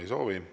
Ei soovi.